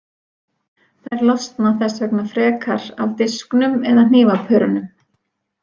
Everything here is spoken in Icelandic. Þær losna þess vegna frekar af disknum eða hnífapörunum.